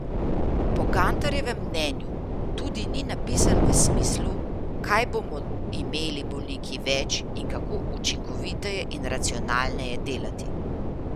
Po Gantarjevem mnenju tudi ni napisan v smislu, kaj bomo imeli bolniki več in kako učinkoviteje in racionalneje delati.